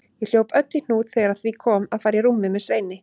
Ég hljóp öll í hnút þegar að því kom að fara í rúmið með Sveini.